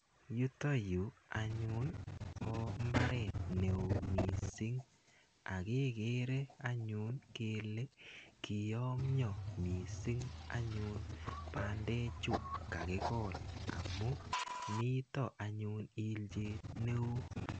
Yutayu anyu ko mbaret ne oo missing' ak kekere anyun kele kiyamya missing' anyun pandechu kakikol amu mita anyun ilchet ne oo.